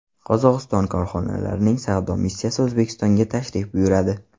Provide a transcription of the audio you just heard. Qozog‘iston korxonalarining savdo missiyasi O‘zbekistonga tashrif buyuradi.